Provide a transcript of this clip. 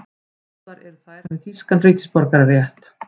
Báðar eru þær með þýskan ríkisborgararétt